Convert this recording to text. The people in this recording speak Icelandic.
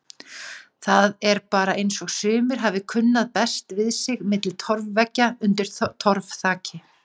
Það er bara eins og sumir hafi kunnað best við sig milli torfveggja undir torfþaki.